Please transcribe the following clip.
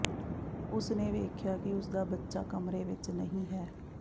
ਉਸਨੇ ਵੇਖਿਆ ਕਿ ਉਸਦਾ ਬੱਚਾ ਕਮਰੇ ਵਿੱਚ ਨਹੀਂ ਹੈ